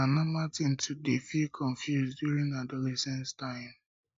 na na normal tin to dey feel confused during adolescence time